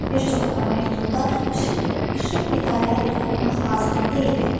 Bir çoxları məktubda üsul idarəyə toxunmaq lazım deyildi.